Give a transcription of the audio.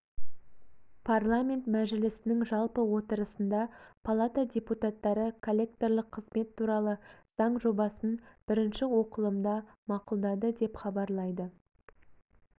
парламент мәжілісінің жалпы отырысында палата депутаттары коллекторлық қызмет туралы заң жобасын бірінші оқылымда мақұлдады деп хабарлайды